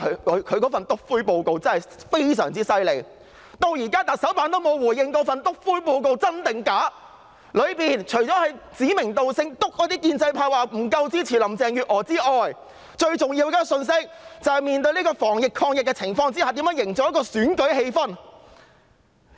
因為她的"篤灰"報告非常厲害，直到現在特首辦也沒有回應這份"篤灰"報告是否真的存在，報告裏除了指明建制派不夠支持林鄭月娥外，最重要的信息是，在防疫抗疫的情況下如何營造選舉氣氛。